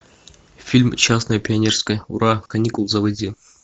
фильм частное пионерское ура каникулы заводи